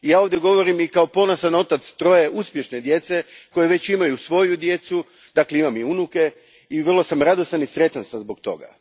Ja ovdje govorim i kao ponosan otac troje uspješne djece, koja već imaju svoju djecu, dakle imam i unuke, i vrlo sam radostan i sretan zbog toga.